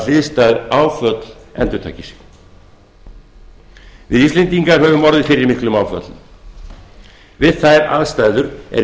hliðstæð áföll endurtaki sig við íslendingar höfum orðið fyrir miklum áföllum við þær aðstæður er